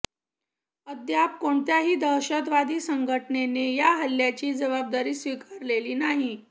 अद्याप कोणत्याही दहशतवादी संघटनेने या हल्लयाची जबाबदारी स्वीकारलेली नाही